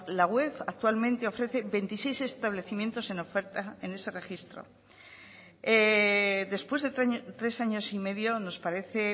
la web actualmente ofrece veintiséis establecimientos en oferta en ese registro después de tres años y medio nos parece